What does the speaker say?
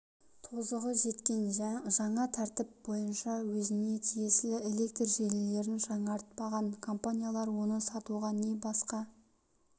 тозығы жеткен жаңа тәртіп бойынша өзіне тиесілі электр желілерін жаңартпаған компаниялар оны сатуға не басқа